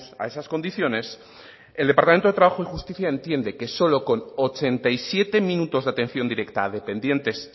a esas condiciones el departamento de trabajo y justicia entiende que solo con ochenta y siete minutos de atención directa a dependientes